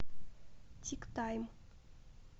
тик тайм